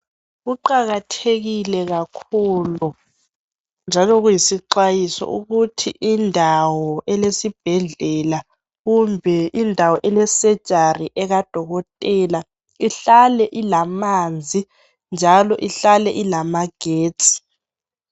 Kuqakathekile kakhulu njalo kuyisixwayiso ukuthi indawo elesibhedlela kumbe indawo elesejari ekadokotela ihlale ilamanzi njalo ihlale ilamagesti.